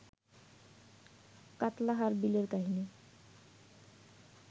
কাত্লাহার বিলের কাহিনি